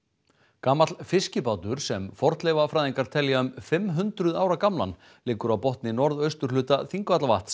gamall fiskibátur sem fornleifafræðingar telja um fimm hundruð ára gamlan liggur á botni norðausturhluta Þingvallavatns